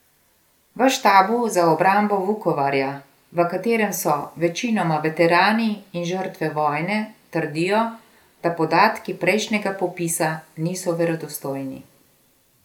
V štabu za obrambo Vukovarja, v katerem so večinoma veterani in žrtve vojne, trdijo, da podatki prejšnjega popisa niso verodostojni.